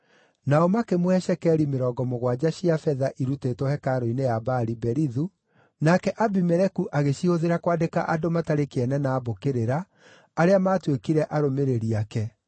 Nao makĩmũhe cekeri mĩrongo mũgwanja cia betha irutĩtwo hekarũ-inĩ ya Baali-Berithu, nake Abimeleku agĩcihũthĩra kwandĩka andũ matarĩ kĩene na a mbũkĩrĩra, arĩa maatuĩkire arũmĩrĩri ake.